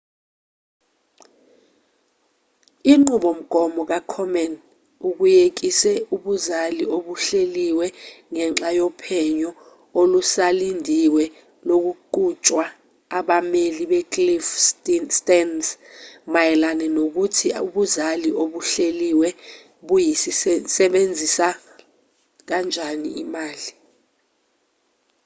inqubomgomo ka-komen ukuyekise ubuzali obuhleliwe ngenxa yophenyo olusalindiwe oluqhutshwa abameli be-cliff stearns mayelana nokuthi ubuzali obuhleliwe buyisebenzisa kanjani imali